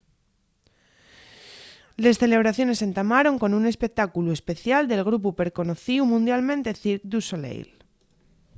les celebraciones entamaron con un espectáculu especial del grupu perconocíu mundialmente cirque du soleil